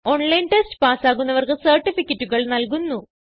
online test പാസ്സാകുന്നവർക്ക് സർട്ടിഫികറ്റുകൾ നല്കുന്നു